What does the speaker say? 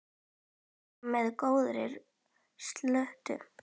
Berið fram með góðri sultu.